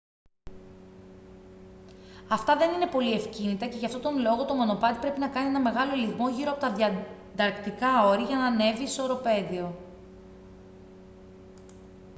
αυτά δεν είναι πολύ ευκίνητα και γι' αυτόν τον λόγο το μονοπάτι πρέπει να κάνει έναν μεγάλο ελιγμό γύρω από τα διανταρκτικά όρη για να ανέβει στο οροπέδιο